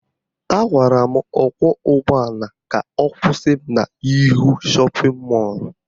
Agwara m ọkwọụgbọala ka ọ kwụsị m n'ihu shọpịn mọlụ